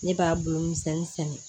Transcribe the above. Ne b'a bolo misɛnnin sɛnɛ